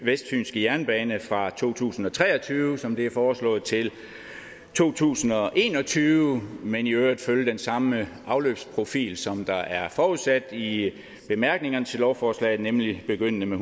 vestfynske jernbane fra to tusind og tre og tyve som det er foreslået til to tusind og en og tyve men i øvrigt følge den samme afløbsprofil som der er forudsat i bemærkningerne til lovforslaget nemlig begyndende med